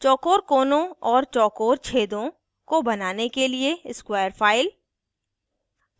चौकोर कोनों और चौकोर छेदों को बनाने के लिए स्क्वायर फाइल